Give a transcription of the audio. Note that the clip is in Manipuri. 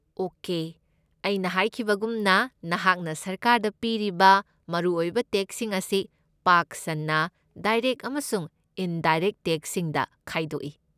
ꯑꯣꯀꯦ, ꯑꯩꯅ ꯍꯥꯏꯈꯤꯕꯒꯨꯝꯅ, ꯅꯍꯥꯛꯅ ꯁꯔꯀꯥꯔꯗ ꯄꯤꯔꯤꯕ ꯃꯔꯨꯑꯣꯏꯕ ꯇꯦꯛꯁꯁꯤꯡ ꯑꯁꯤ ꯄꯥꯛ ꯁꯟꯅ ꯗꯥꯏꯔꯦꯛꯠ ꯑꯃꯁꯨꯡ ꯏꯟꯗꯥꯏꯔꯦꯛꯠ ꯇꯦꯛꯁꯁꯤꯡꯗ ꯈꯥꯏꯗꯣꯛꯏ꯫